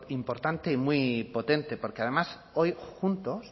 importante y muy potente porque además hoy juntos